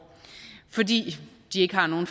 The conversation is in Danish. fordi de ikke har nogen